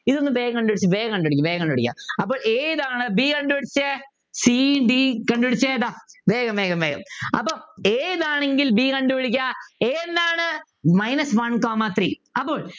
ഇതൊന്നു വേഗം കണ്ടുപിടിക്കു വേഗം കണ്ടുപിടിക്ക് വേഗം കണ്ടുപിടിക്ക് അപ്പോൾ ഏതാണ് b കണ്ടുപിടിച്ചേ c d കണ്ടുപിടിച്ചെ എതാ വേഗം വേഗം വേഗം അപ്പൊ a ഇതാണെങ്കിൽ b കണ്ടുപിടിക്കാം a എന്താണ് Minus one comma three അപ്പോൾ